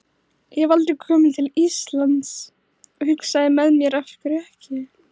Ég hef aldrei kom til Íslands og hugsaði með mér, af hverju ekki?